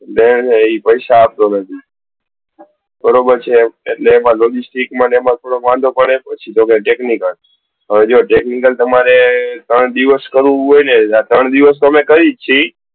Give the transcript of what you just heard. છે ને એ પૈસા આપતો નથી બરોબર છે એટલે logistic માં પાછો પડે છે ને બીજો છે technical હવે જો technical જો તમારે ત્રણ દિવસ કરવું હોય ને જો ત્રણ દિવસ તો અમે કરીએ જ છે.